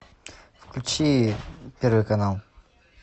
включи первый канал